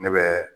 Ne bɛ